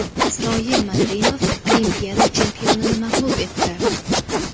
Isroil Madrimov Olimpiada chempionini mag‘lub etdi.